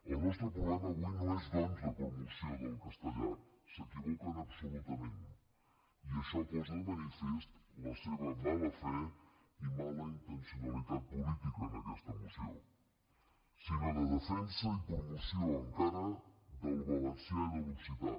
el nostre problema avui no és doncs de promoció del castellà s’equivoquen absolutament i això posa de manifest la seva mala fe i mala intencionalitat política en aquesta moció sinó de defensa i promoció encara del valencià i de l’occità